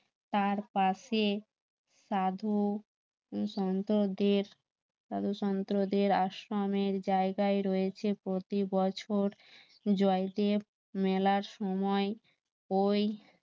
তার পাশে সাধু শান্তদের দ্বাদশান্তদের আশ্রমের জায়গায় রয়েছে প্রতি বছর জয়দেব মেলার সময় ওই